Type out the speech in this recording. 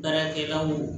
Baarakɛlaw